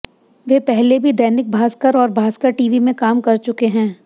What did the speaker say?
वे पहले भी दैनिक भास्कर और भास्कर टीवी में काम कर चुके हैं